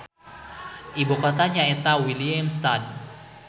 Ibu kotana nyaeta Willemstad.